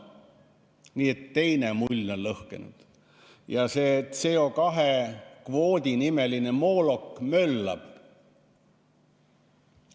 Nii et teine mull on lõhkenud ja see CO2 kvoodi nimeline moolok möllab.